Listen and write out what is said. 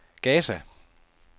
Gaza